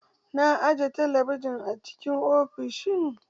Na aje talabijin a cikin ofishin